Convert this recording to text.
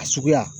A suguya